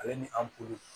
Ale ni an kulu